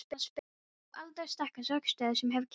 Frú Alda er sterkasta orkustöð sem ég hef kynnst.